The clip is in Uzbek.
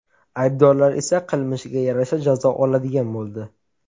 Aybdorlar esa qilmishiga yarasha jazo oladigan bo‘ldi.